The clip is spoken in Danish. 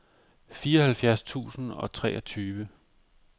fireoghalvfjerds tusind og treogtyve